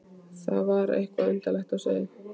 Það var eitthvað undarlegt á seyði.